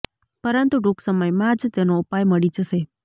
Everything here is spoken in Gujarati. પરંતુ ટૂંક સમયમાં જ તેનો ઉપાય મળી જશે